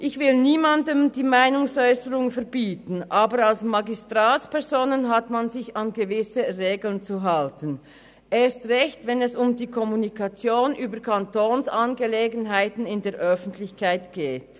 Ich will niemandem die freie Meinungsäusserung verbieten, aber als Magistratsperson hat man sich an gewisse Regeln zu halten, erst recht, wenn es um die öffentliche Kommunikation über Kantonsangelegenheiten geht.